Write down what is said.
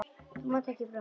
Þú mátt ekki brotna.